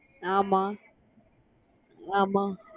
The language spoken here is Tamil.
ஆமா ஆமா